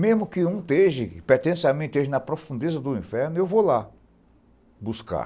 Mesmo que um pertença a mim, esteja na profundeza do inferno, eu vou lá buscar.